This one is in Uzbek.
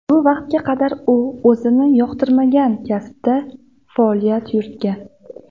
Bu vaqtga qadar u o‘zi yoqtirmagan kasbda faoliyat yuritgan”.